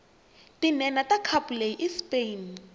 tinhenha takhapuleyi ispain